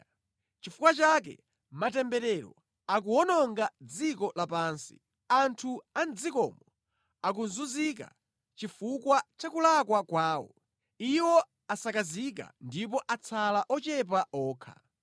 Nʼchifukwa chake matemberero akuwononga dziko lapansi; anthu a mʼdzikomo akuzunzika chifukwa cha kulakwa kwawo, iwo asakazika ndipo atsala ochepa okha.